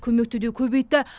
көмекті де көбейтті